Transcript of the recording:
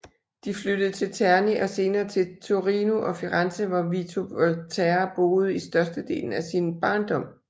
De flyttede til Terni og senere til Torino og Firenze hvor Vito Volterra boede i størstedelen af sin barndom